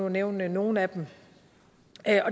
nævne nogle af dem